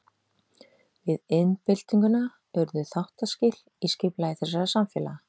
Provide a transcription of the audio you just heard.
Við iðnbyltinguna urðu þáttaskil í skipulagi þessara samfélaga.